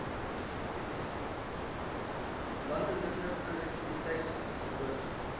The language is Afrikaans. landelike produktiwiteit verhoog